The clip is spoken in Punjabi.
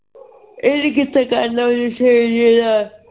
ਇਹਨੇ ਕਿਥੇ ਕਰਨਾ ਨਸ਼ਈ ਜੇ ਨਾਲ